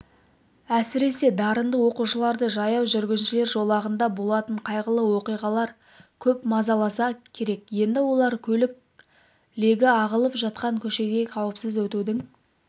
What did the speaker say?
әсіресе дарынды оқушыларды жаяу жүргіншілер жолағында болатын қайғылы оқиғалар көп мазаласа керек енді олар көлік легі ағылып жатқан көшеден қауіпсіз өтудің